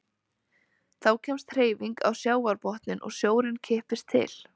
Þá kemst hreyfing á sjávarbotninn og sjórinn kippist til.